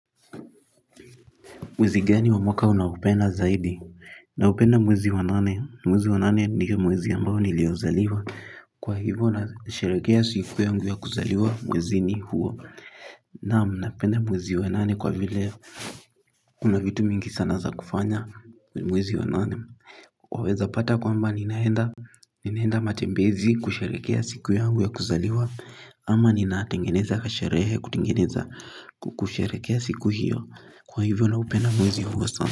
Mwezi gani wa mwaka unaupenda zaidi, naupenda mwezi wa nane, mwezi wa nane ni mwezi ambao niliozaliwa. Kwa hivyo nasherehekea siku yangu ya kuzaliwa mwezini huo. Naam, napenda mwezi wa nane kwa vile una vitu mingi sana za kufanya mwezi wa nane. Waweza pata kwamba ninaenda. Ninaenda matembezi kusherehekea siku yangu ya kuzaliwa. Ama ninatengeneza kasherehe kutengeneza kusherehekea siku hiyo. Kwa hivyo naupenda mwezi huo sana.